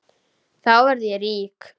Þá verð ég rík.